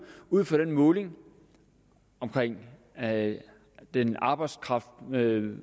ud fra den måling af den arbejdskraftbaserede